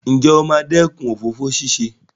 Ǹjẹ́ o máa dẹ́kun ìwà òfófó ṣíṣe?